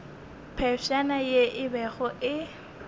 phefšana ye e bego e